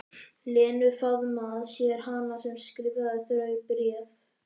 Lenu, faðma að sér hana sem skrifaði þau bréf.